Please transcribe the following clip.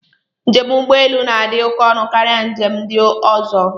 Njem ụgbọelu na-adị oké ọnụ karịa njem ndị ọzọ.